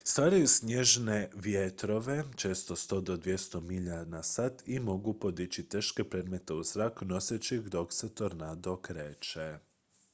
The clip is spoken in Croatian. stvaraju snažne vjetrove često 100 – 200 milja/sat i mogu podići teške predmete u zrak noseći ih dok se tornado kreće